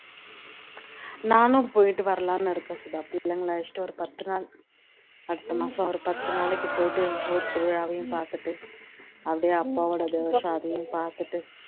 நானும் போயிட்டு வரலான்னு இருக்கேன் சுதா பிள்ளைங்கல அழைச்சுட்டு ஒரு பத்துனாள் அடுத்த மாசம் ஒரு பத்து நாளைக்கு பொயிட்டு ஊர் திருவிழாவயும் பாத்துட்டு அப்படியே அப்போட தெவஷம் அதையும் பாத்துட்டு